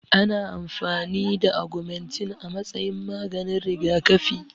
Ana amfani da agumantin a matsayin maganin rigakafi